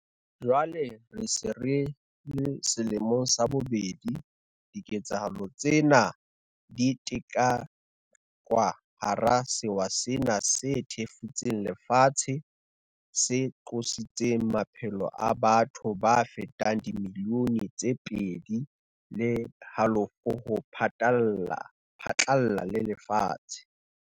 Jwale re se re le selemong sa bobedi bobedi, diketsahalo tsena di ketekwa hara sewa sena se thefutseng lefatshe se qositseng maphelo a batho ba fetang dimilione tse pedi le halofo ho phatlalla le lefatshe.